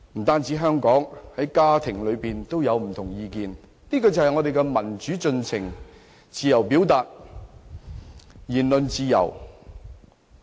不只香港，在每個家庭裏也有不同意見，這便是民主進程，自由表達，言論自由。